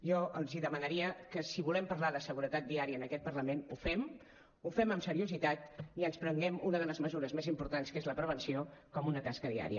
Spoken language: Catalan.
jo els demanaria que si volem parlar de seguretat viària en aquest parlament ho fem ho fem amb seriositat i ens prenguem una de les mesures més importants que és la prevenció com una tasca diària